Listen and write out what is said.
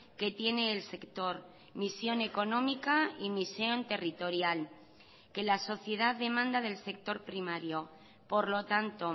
que tiene el sector misión económica y misión territorial que la sociedad demanda del sector primario por lo tanto